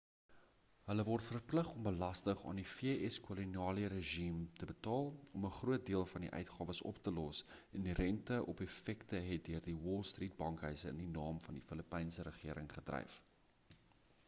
hulle word verplig om belasting aan die vs koloniale regime te betaal om 'n groot deel van die uitgawes op te los en die rente op effekte het deur die wall straat bankhuise in die naam van die filippynse regering gedryf